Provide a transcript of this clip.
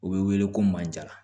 U bɛ wele ko manjala